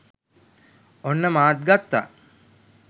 ඔන්න මාත් ගත්තා.